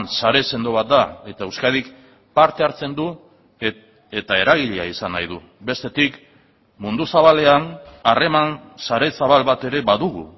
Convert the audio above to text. sare sendo bat da eta euskadik parte hartzen du eta eragilea izan nahi du bestetik mundu zabalean harreman sare zabal bat ere badugu